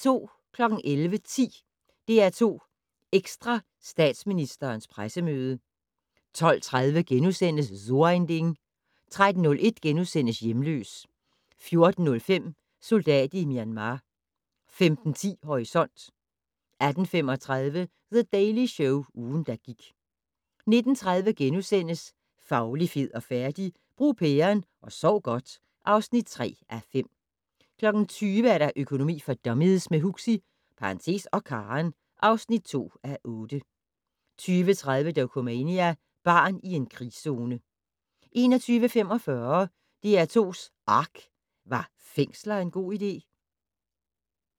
11:10: DR2 Ekstra: Statsministerens pressemøde 12:30: So ein Ding * 13:01: Hjemløs * 14:05: Soldat i Myanmar 15:10: Horisont 18:35: The Daily Show - ugen, der gik 19:30: Fauli, fed og færdig? - Brug pæren og sov godt (3:5)* 20:00: Økonomi for dummies - med Huxi (og Karen) (2:8) 20:30: Dokumania: Barn i en krigszone 21:45: DR2's ARK - Var fængsler en god idé?